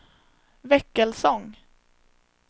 Väckelsång